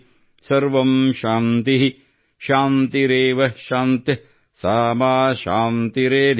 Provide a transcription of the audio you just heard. ಸರ್ವಂಶಾಂತಿಃಶಾಂತಿರೇವಶಾಂತಿಃ ಸಾ ಮಾ ಶಾಂತಿರೇಧಿ||